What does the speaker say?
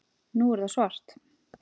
Nú er það svart